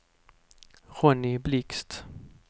Ronny Blixt